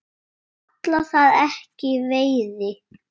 Ég kalla það ekki veiði.